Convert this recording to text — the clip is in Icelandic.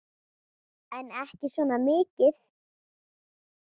En ekki svona mikið.